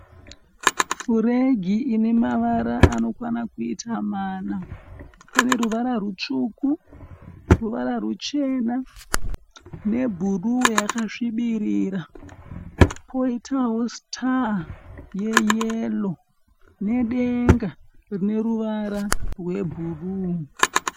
Furegi ine mavara anokwana kuita mana. Pane ruvara rutsvuku, ruvara ruchena nebhuruu yakasvibirira. Poitao sitaa yeyero nedenga rine ruvara rwebhuruu.